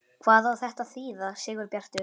HVAÐ Á ÞETTA AÐ ÞÝÐA, SIGURBJARTUR?